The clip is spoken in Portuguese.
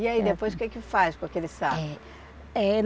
E aí depois o que que faz com aquele saco? É, é